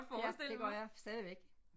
Ja det gør jeg stadigvæk